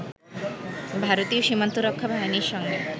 ভারতীয় সীমান্তরক্ষা বাহিনীর সঙ্গে